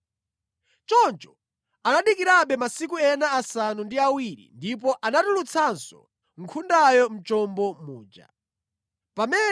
Choncho anadikirabe masiku ena asanu ndi awiri ndipo anatulutsanso nkhundayo mʼchombo muja.